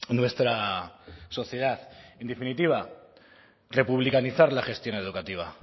nuestra sociedad en definitiva republicanizar la gestión educativa